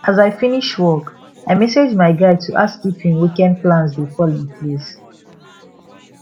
as i finish work i message my guy to ask if hin weekend plans dey fall in place